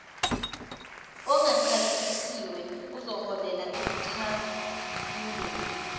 ongachasisiwe ozoholela ekucwaingweni